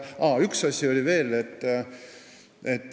Üks asi on veel.